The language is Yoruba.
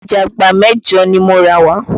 Ọ̀jágbàá mẹ́jọ̀ ni mo rà wá